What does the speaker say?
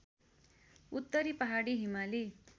उत्तरी पहाडी हिमाली